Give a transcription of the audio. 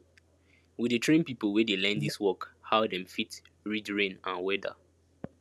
we dey train pipo wey dey learn dis work how dem fit read rain and weada